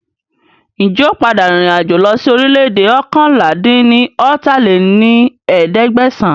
Ń jẹ́ ó padà rìn ìrìn àjò lọ sí orílẹ̀ èdè oókànlá-dín-ní-ọ́ta lé ní ẹ̀ẹ́dẹ́gbẹ́sán